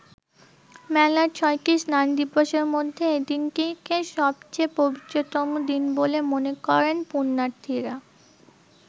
মেলার ৬টি স্নান দিবসের মধ্যে এদিনটিকে সবচে’ পবিত্রতম দিন বলে মনে করেন পুন্যার্থীরা।